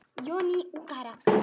Svo margt hægt að gera.